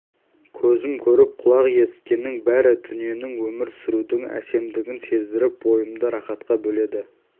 көзім көріп құлақ есіткеннің бәрі дүниенің өмір сүрудің әсемділігін сездіріп бойымды рақатқа бөледі